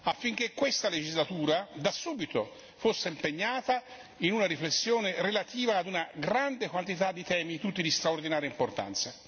affinché questa legislatura da subito fosse impegnata in una riflessione relativa a una grande quantità di temi, tutti di straordinaria importanza.